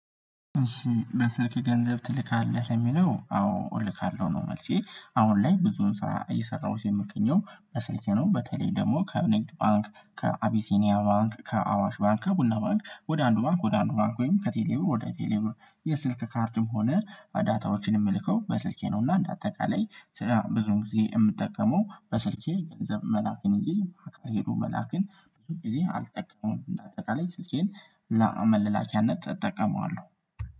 እሺ በስልክ ገንዘብ ትልካለህ የሚለው አዎ እልካለሁ ነው። መልሴ አሁን ላይ ብዙም ስራ እየሰራሁት የምትገኘው በስልኬ ነው። በተለይ ደግሞ ከንግድ ባንክ ከአቢሲኒያ ባንክ ከአዋሽ ባንክ ከቡና ባንክ ወደ አንዱ ባንክ ወደ አንዱ ባንክ ወይም ከቴሌ ብር ወደ ቴሌ ብር የስልክ ካርድም ሆነ ዳታዎችን የምልከው በስልኬ ነው። እና እንደ አጠቃላይ ስራ ብዙ ዉን ጊዜ የምጠቀመው በስልኬ ገንዘብ መላክን እንጂ ሄዶ መላክን ብዙ ጊዜ አልጠቀመም። እንደ አጠቃላይ ስልኬን ለመለኪያነት እጠቀመዋለሁ